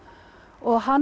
og hann